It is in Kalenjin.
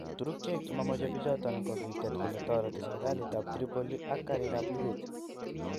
Turukiek che mamoche pichoton, ko kitet kole toreti serkalit ap Tripoli ak karig ap luget.